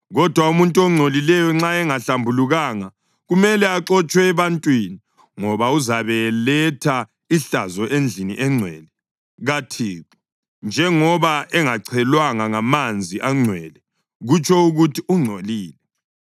Kodwa umuntu ongcolileyo nxa engazihlambululanga, kumele axotshwe ebantwini, ngoba uzabe eletha ihlazo endlini engcwele kaThixo. Njengoba engachelwanga ngamanzi angcwele, kutsho ukuthi ungcolile.